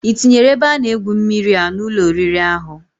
Itinyere ebe ana egwu mmiri an Ụlọ oriri ahu?